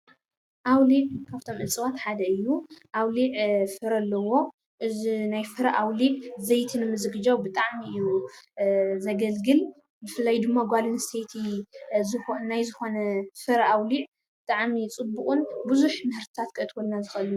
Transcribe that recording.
ኣውሊዕ ካብቶም እፅዋት ሓደ እዩ፡፡ ኣውሊዕ ፍረ ኣለዎ፡፡ እዚ ናይ ፍረ ኣውሊዕ ዘይቲ ንምዝግጃው ብጣዕሚ እዩ ዘገልግል፡፡ ብፍላይ ድማ ጓል ኣነስተይቲ ናይ ዝኾነ ሱር ኣውሊዕ ብጣዕሚ ፅቡቕን ብዙሕ ምህርትታት ከእትወልና ዝኽእልን እዩ፡፡